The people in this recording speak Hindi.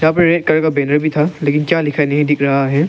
यहां पे रेड कलर का बैनर भी था लेकिन क्या लिखा है नहीं दिख रहा है।